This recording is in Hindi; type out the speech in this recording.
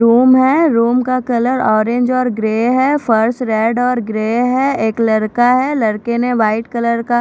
रूम है रूम का कलर ऑरेंज और ग्रे है फर्श रेड और ग्रे है एक लड़का है लड़के ने वाइट कलर का--